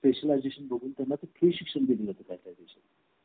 specialization बघून त्याचे प्रशिक्षण देण्या ची